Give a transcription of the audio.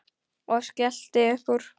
Og skellti upp úr.